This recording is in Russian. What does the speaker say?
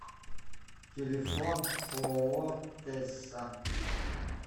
телефон ооо тэсса